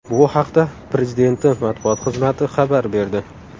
Bu haqda Prezidenti matbuot xizmati xabar berdi .